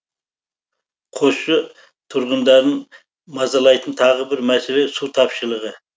қосшы тұрғындарын мазалайтын тағы бір мәселе су тапшылығы